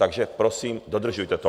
Takže prosím, dodržujte to.